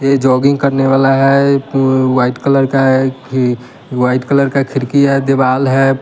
यह जोगिंग करने वाला है एक वाइट कलर का है ये व्हाइट कलर का खिरकी है दीवाल है।